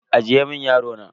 Ajiye mun yaro na.